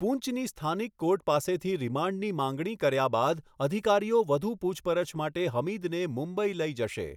પુંચની સ્થાનિક કોર્ટ પાસેથી રિમાન્ડની માંગણી કર્યા બાદ અધિકારીઓ વધુ પૂછપરછ માટે હમીદને મુંબઈ લઈ જશે.